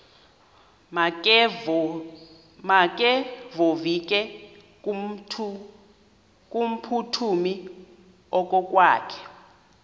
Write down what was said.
makevovike kumphuthumi okokwakhe